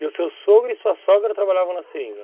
E o seu sogro e sua sogra trabalhavam na seringa?